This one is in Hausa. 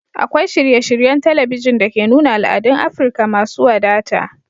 Akwai shirye-shiryen talabijin da ke nuna al'adun Afirka masu wadata